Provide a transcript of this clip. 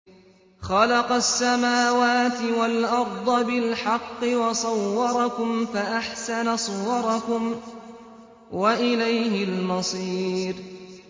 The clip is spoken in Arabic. خَلَقَ السَّمَاوَاتِ وَالْأَرْضَ بِالْحَقِّ وَصَوَّرَكُمْ فَأَحْسَنَ صُوَرَكُمْ ۖ وَإِلَيْهِ الْمَصِيرُ